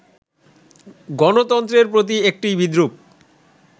গণতন্ত্রের প্রতি একটি বিদ্রূপ